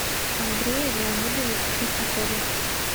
андрее леонидовиче шестакове